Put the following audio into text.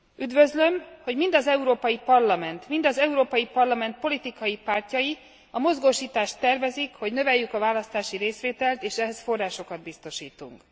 Üdvözlöm, hogy mind az Európai Parlament, mind az Európai Parlament politikai pártjai a mozgósítást tervezik, hogy növeljük a választási részvételt, és ehhez forrásokat biztosítunk.